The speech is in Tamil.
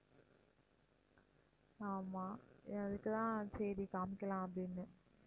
ஆமாம் அதுக்கு தான் சரி காமிக்கலாம் அப்படின்னு